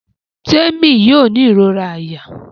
Temi yóò ní irora àyà.